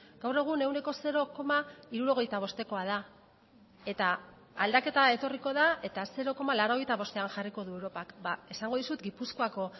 gaur egun ehuneko zero koma hirurogeita bostekoa da eta aldaketa etorriko da eta zero koma laurogeita bostean jarriko du europak esango dizut gipuzkoako